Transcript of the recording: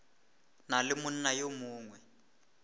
na le monna yo mongwe